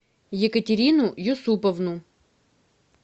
екатерину юсуповну